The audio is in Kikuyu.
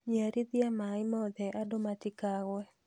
Nyiarithia maĩ mothe andũ matkagũe